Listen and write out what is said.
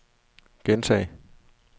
gentag